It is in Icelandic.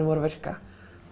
voru að virka